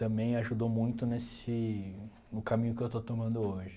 Também ajudou muito nesse no caminho que eu estou tomando hoje.